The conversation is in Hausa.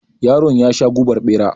Yaron yasha gubar bera.